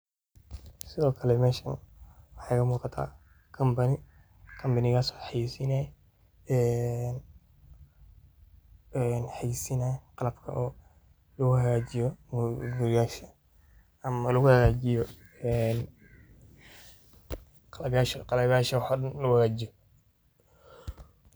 Sidhokale mesha waxa igamugata company oo hayasinayo ee qalabka laguhagajiyo quriyasha ama laguhagajiyo een qalabka woxo daan laguhagajiyo.